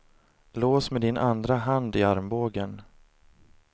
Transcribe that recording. Lås med din andra hand i armbågen.